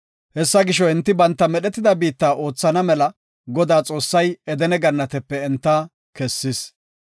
Hessa gisho, enti banta medhetida biitta oothana mela Godaa Xoossay Edene Gannatepe enta kessis.